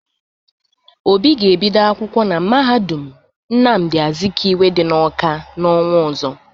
Obi ga-ebido akwụkwọ na mahadum Nnamdị Azikiwe dị n'Ọka n'ọnwa ọzọ.